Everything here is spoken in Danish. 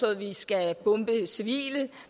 at vi skal bombe civile